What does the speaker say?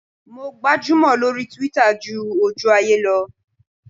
Mo gbajúmò lórí Twitter ju ojú ayé lọ.